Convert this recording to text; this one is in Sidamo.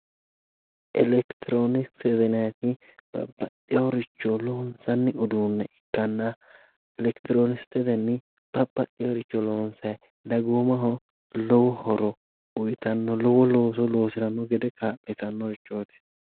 Elektirooniksete yinayiri babbaxxiworicho loonsanni uduunne ikkanna Elektirooniksetenni babbaxxiworicho loonsayi. Dagoomaho lowo horo uyitanno lowo looso loosiranno gede kaa'litannorichooti.